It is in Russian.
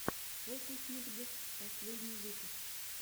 фокусникд последний выпуск